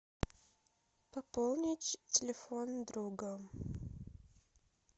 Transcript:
пополнить телефон друга